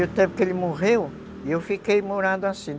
E o tempo que ele morreu, eu fiquei morando assim.